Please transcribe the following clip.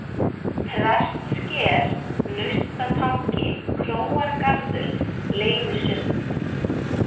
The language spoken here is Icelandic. Prestssker, Naustatangi, Króargarður, Leynisund